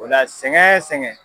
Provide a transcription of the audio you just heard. O la sɛgɛn sɛgɛn